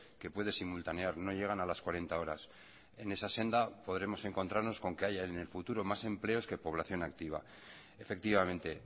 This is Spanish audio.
que puede simultanear no llegan a las cuarenta horas en esa senda podremos encontrarnos con que haya en el futuro más empleos que población activa efectivamente